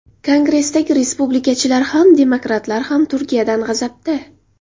Kongressdagi respublikachilar ham, demokratlar ham Turkiyadan g‘azabda.